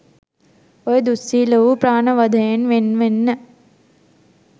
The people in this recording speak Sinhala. ඔය දුස්සීල වූ ප්‍රාණ වධයෙන් වෙන් වෙන්න.